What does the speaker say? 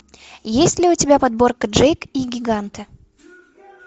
есть ли у тебя подборка джейк и гиганты